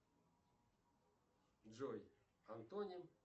джой антоним